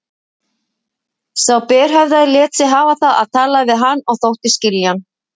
Sá berhöfðaði lét sig hafa það að tala við hann og þóttist skilja hann.